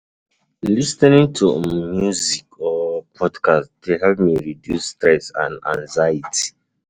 Lis ten ing to um music or podcasts dey help me reduce stress and anxiety.